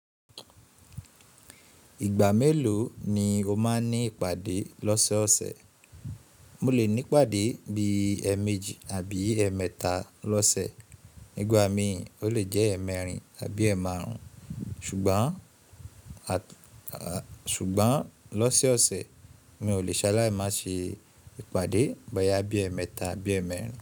Ìgbà mélòó ni o máa ní ìpàdé lọ́sẹ̀ọ̀sẹ̀? Mo lè ní ìpàdé bí i ẹẹ̀méjì àbí ẹẹ̀mẹ́ta lọ́sẹ̀. Nígbà mi, ó lè jẹ́ ẹ̀ẹ̀mẹ́rin àbí ẹẹ̀ẹ̀ẹ̀ márùn-ún. Ṣùgbọ́n lọ́sẹ̀ọ̀sẹ̀, mi ò lè ṣa lá ì má ṣe ìpàdé báyìí ẹẹ̀mẹ́ta àbí ẹẹ̀mẹ́rin.